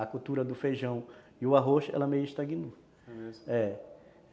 A cultura do feijão e o arroz, ela meio que estagnou